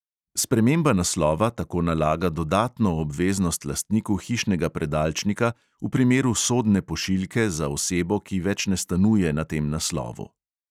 Sprememba naslova tako nalaga dodatno obveznost lastniku hišnega predalčnika v primeru sodne pošiljke za osebo, ki več ne stanuje na tem naslovu.